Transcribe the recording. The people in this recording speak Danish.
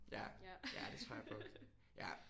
Ja ja det tror jeg på ja